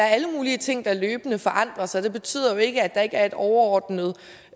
er alle mulige ting der løbende forandrer sig det betyder jo ikke at der ikke er en overordnet